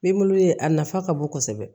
ye a nafa ka bon kosɛbɛ